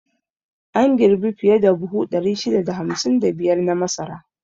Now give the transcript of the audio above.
An girbi fiye da buhu 655 na masara.